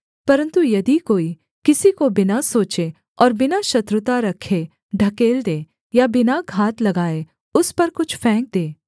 परन्तु यदि कोई किसी को बिना सोचे और बिना शत्रुता रखे ढकेल दे या बिना घात लगाए उस पर कुछ फेंक दे